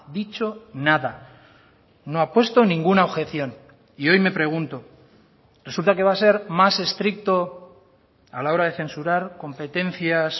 dicho nada no ha puesto ninguna objeción y hoy me pregunto resulta que va a ser más estricto a la hora de censurar competencias